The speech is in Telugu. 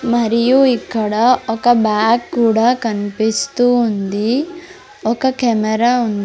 మరియు ఇక్కడ ఒక బ్యాగ్ కూడా కన్పిస్తూ ఉంది ఒక కెమెరా ఉన్ --